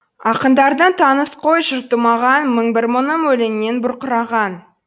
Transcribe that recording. ақындардың таныс қой жұрты маған мың бір мұңым өлеңнен бұрқыраған